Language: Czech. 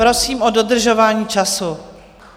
Prosím o dodržování času.